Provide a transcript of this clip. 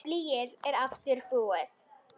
Blýið er aftur búið.